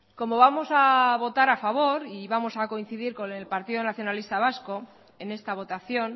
como vamos a votar a favor y vamos a coincidir con el partido nacionalista vasco en esta votación